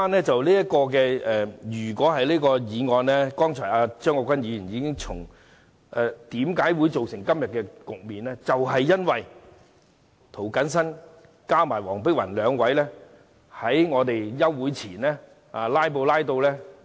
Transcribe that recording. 正如張國鈞議員剛才指出，我們今天仍要討論《條例草案》，是因為涂謹申議員和黃碧雲議員兩位在休會前"拉布"。